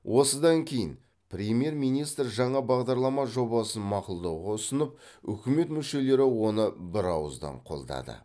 осыдан кейін премьер министр жаңа бағдарлама жобасын мақұлдауға ұсынып үкімет мүшелері оны бірауыздан қолдады